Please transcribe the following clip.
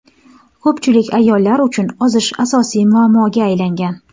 Ko‘pchilik ayollar uchun ozish asosiy muammoga aylangan.